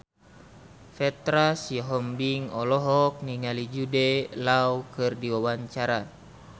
Petra Sihombing olohok ningali Jude Law keur diwawancara